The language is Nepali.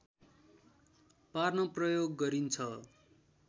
पार्न प्रयोग गरिन्छ